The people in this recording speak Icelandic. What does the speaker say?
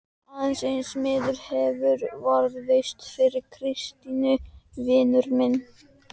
Aðeins einn miði hefur varðveist frá Kristínu: Vinur minn!